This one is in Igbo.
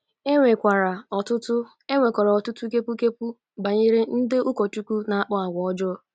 E nwekwara ọtụtụ E nwekwara ọtụtụ kepu kepu banyere ndị ụkọchukwu na-akpa àgwà ọjọọ.